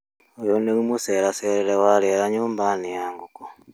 Uyũ nĩguo mũceracerere wa rĩera nyũmba-inĩ ya ngũkũ.